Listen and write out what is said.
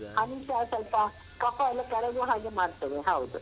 Honey ಸ ಸ್ವಲ್ಪ ಕಫ ಎಲ್ಲ ಕರಗುವ ಹಾಗೆ ಮಾಡ್ತದೆ ಹೌದು.